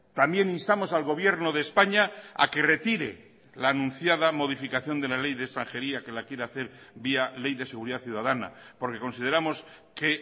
también instamos al gobierno de españa a que retire la anunciada modificación de la ley de extranjería que la quiere hacer vía ley de seguridad ciudadana porque consideramos que